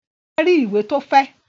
Bọ́lá rí ìwé tó fẹ́?